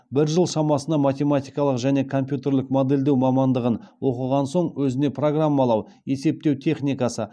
бір жыл шамасына математикалық және компьютерлік модельдеу мамандығын оқыған соң өзіне программалау есептеу техникасы